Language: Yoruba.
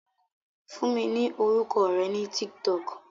Fún mi ní orúkọ rẹ ní TikTok